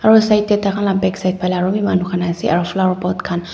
aro side tae takhan la backside phalae arobi manu khan ase aro flower pot khan.